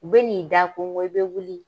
U bɛ n'i da konko i bɛ wuli.